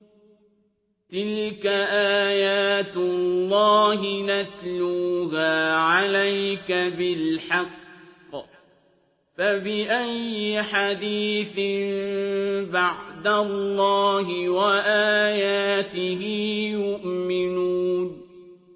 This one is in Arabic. تِلْكَ آيَاتُ اللَّهِ نَتْلُوهَا عَلَيْكَ بِالْحَقِّ ۖ فَبِأَيِّ حَدِيثٍ بَعْدَ اللَّهِ وَآيَاتِهِ يُؤْمِنُونَ